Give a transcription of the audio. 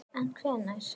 En hvenær?